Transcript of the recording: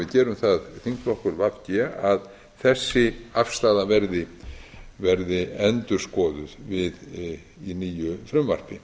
gerum það þingflokkur v g að þessi afstaða verði endurskoðuð við nýju frumvarpi